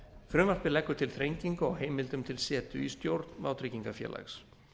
frumvarpið leggur til þrengingu á heimildum til setu í stjórn vátryggingafélags